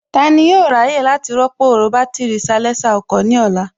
Tani yóò ráyè láti rọ́pò bátìrì salésà ọkọ̀ ní ọ̀la?